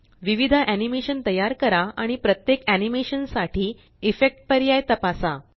विविध एनीमेशन तयार करा आणि प्रत्येक एनीमेशन साठी इफेक्ट पर्याय तपासा